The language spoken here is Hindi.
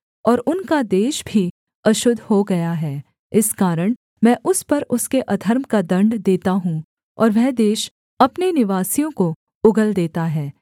और उनका देश भी अशुद्ध हो गया है इस कारण मैं उस पर उसके अधर्म का दण्ड देता हूँ और वह देश अपने निवासियों को उगल देता है